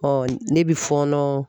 ne bɛ fɔnɔn